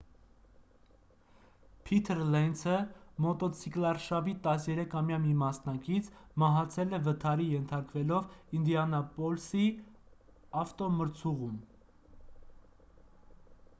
փիթր լենցը մոտոցիկլարշավի 13-ամյա մի մասնակից մահացել է վթարի ենթարկվելով ինդիանապոլիսի ավտոմրցուղում